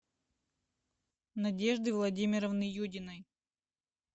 надежды владимировны юдиной